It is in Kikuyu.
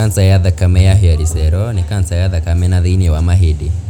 kanca ya thakame ya hairy cell nĩ kanca ya thakame na thĩinĩ wa mahĩndĩ.